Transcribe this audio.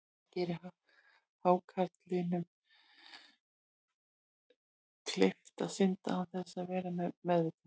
Það gerir hákarlinum kleift að synda án þess að vera við meðvitund.